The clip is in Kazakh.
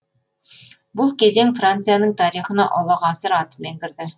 бұл кезең францияның тарихына ұлы ғасыр атымен кірді